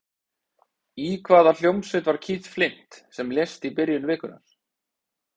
Í hvaða hljómsveit var Keith Flint sem lést í byrjun vikunnar?